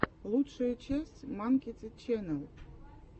лучшая часть манкити ченнэл